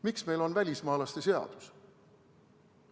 Miks meil on välismaalaste seadus?